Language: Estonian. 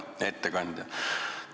Hea ettekandja!